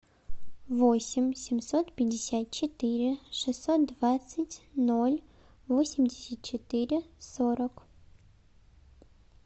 восемь семьсот пятьдесят четыре шестьсот двадцать ноль восемьдесят четыре сорок